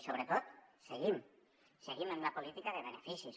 i sobretot seguim seguim amb la política de beneficis